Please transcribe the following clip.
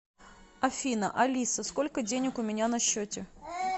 афина алиса сколько денег у меня на счете